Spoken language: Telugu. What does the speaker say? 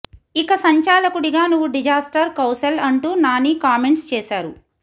ఇక సంచాలకుడిగా నువ్వు డిజాస్టర్ కౌశల్ అంటూ నాని కామెంట్స్ చేశారు